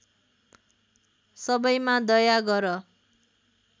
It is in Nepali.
सबैमा दया गर